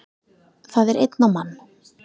Það er einn á mann